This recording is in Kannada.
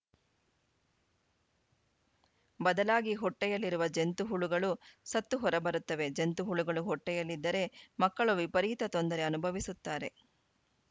ಬದಲಾಗಿ ಹೊಟ್ಟೆಯಲ್ಲಿರುವ ಜಂತು ಹುಳುಗಳು ಸತ್ತು ಹೊರ ಬರುತ್ತವೆ ಜಂತು ಹುಳುಗಳು ಹೊಟ್ಟೆಯಲ್ಲಿದ್ದರೆ ಮಕ್ಕಳು ವಿಪರೀತ ತೊಂದರೆ ಅನುಭವಿಸುತ್ತಾರೆ